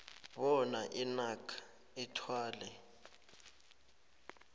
bona inac ithwale